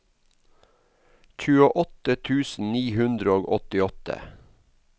tjueåtte tusen ni hundre og åttiåtte